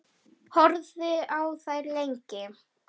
Horfði á þær lengi.